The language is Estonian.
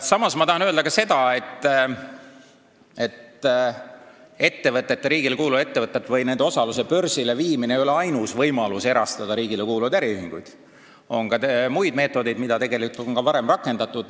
Samas tahan ma öelda ka seda, et riigile kuuluvate ettevõtete või nende osaluse börsile viimine ei ole ainus võimalus riigile kuuluvaid äriühinguid erastada, on ka muid meetodeid, mida tegelikult on ka varem rakendatud.